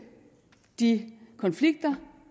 de konflikter